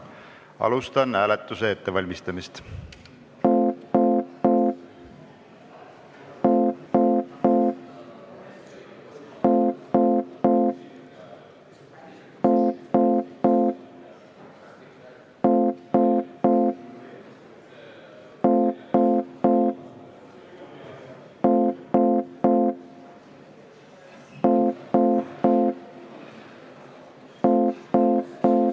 Alustan hääletuse ettevalmistamist.